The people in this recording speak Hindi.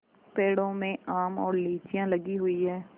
पेड़ों में आम और लीचियाँ लगी हुई हैं